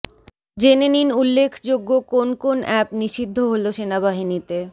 জেনে নিন উল্লেখযোগ্য কোন কোন অ্যাপ নিষিদ্ধ হল সেনাবাহিনীতে